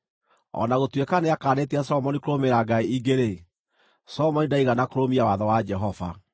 O na gũtuĩka nĩakaanĩtie Solomoni kũrũmĩrĩra ngai ingĩ-rĩ, Solomoni ndaigana kũrũmia watho wa Jehova.